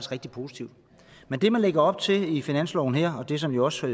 rigtig positivt men det man lægger op til i finansloven her og det som nu også